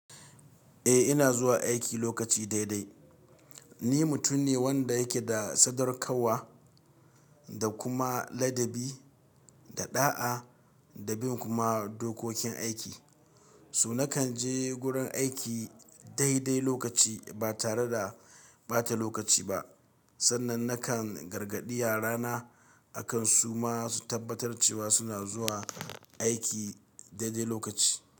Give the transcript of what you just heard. Eh ina zuwa aiki lokaci dai dai. Ni mutum ne wanda yake da sadaukarwa da kuma ladabi da ɗa'a da bin kuma dokokin aiki. Toh na kan je gurin aiki dai dai lokaci ba tare da ɓata lokaci ba. Sannan na kan gargaɗi yara na akan su ma su tabbatar cewa su na zuwa aiki dai dai lokaci.